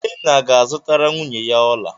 Ikenna ga-azụtara nwunye ya ọla.